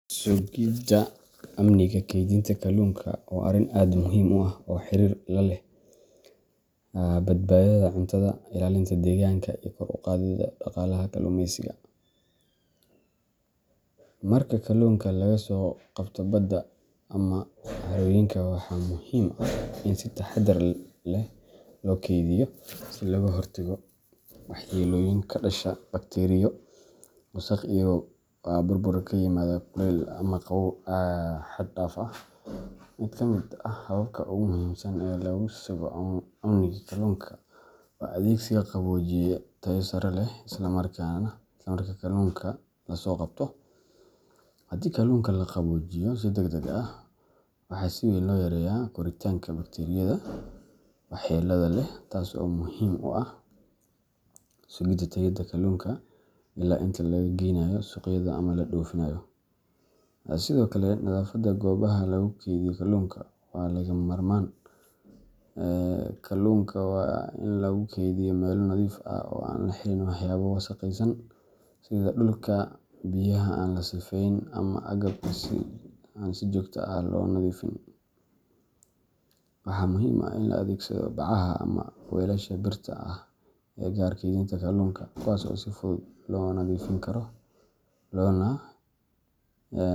Sugidda amniga keydinta kalluunka waa arrin aad muhiim u ah oo xiriir la leh badbaadada cuntada, ilaalinta deegaanka, iyo kor u qaadidda dhaqaalaha kalluumeysiga. Marka kalluunka laga soo qabto badda ama harooyinka, waxa muhiim ah in si taxadar leh loo keydiyo si looga hortago waxyeelooyin ka dhasha bakteeriyo, wasakh, iyo burbur ka yimaada kulaylka ama qabow xad-dhaaf ah. Mid ka mid ah hababka ugu muhiimsan ee lagu sugo amniga kalluunka waa adeegsiga qaboojiye tayo sare leh isla marka kalluunka la soo qabto. Haddii kalluunka la qaboojiyo si degdeg ah, waxa si weyn loo yareeyaa koritaanka bakteeriyada waxyeelada leh, taas oo muhiim u ah sugidda tayada kalluunka illaa inta laga geynaayo suuqyada ama la dhoofinayo. Sidoo kale, nadaafadda goobaha lagu kaydiyo kalluunka waa lagama maarmaan. Kalluunka waa in lagu kaydiyaa meelo nadiif ah oo aan la xiriirin waxyaabo wasakhaysan, sida dhulka, biyaha aan la sifeyn, ama agabka aan si joogto ah loo nadiifin. Waxaa muhiim ah in la adeegsado bacaha ama weelasha birta ah ee u gaar ah keydinta kalluunka, kuwaas oo si fudud loo nadiifin karo loona.